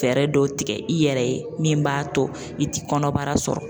Fɛɛrɛ dɔw tigɛ i yɛrɛ ye min b'a to i ti kɔnɔbara sɔrɔ